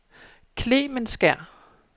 Klemensker